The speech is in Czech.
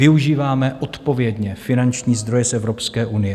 Využíváme odpovědně finanční zdroje z Evropské unie.